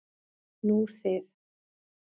Nú þið.